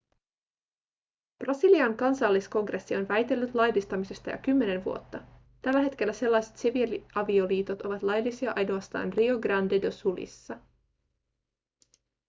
brasilian kansalliskongressi on väitellyt laillistamisesta jo kymmenen vuotta tällä hetkellä sellaiset siviiliavioliitot ovat laillisia ainoastaan rio grande do sulissa